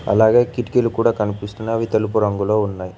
అలాగే కిటికీలు కూడా కనిపిస్తున్నాయ్ అవి తెలుపు రంగులో ఉన్నాయ్.